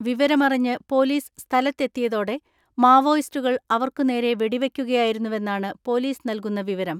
വിവരമറിഞ്ഞ് പൊലീസ് സ്ഥലത്തെ ത്തിയതോടെ മാവോയിസ്റ്റുകൾ അവർക്കുനേരെ വെടിവെ യ്ക്കുകയായിരുന്നുവെന്നാണ് പൊലീസ് നൽകുന്ന വിവരം.